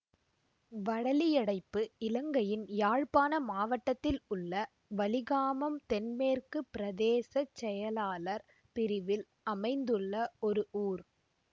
வடலியடைப்பு இலங்கையின் யாழ்ப்பாண மாவட்டத்தில் உள்ள வலிகாமம் தென்மேற்கு பிரதேச செயலாளர் பிரிவில் அமைந்துள்ள ஒரு ஊர்